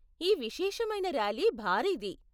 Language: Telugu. ఈ విశేషమైన ర్యాలీ భారీది.